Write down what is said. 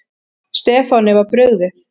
Stefáni var brugðið.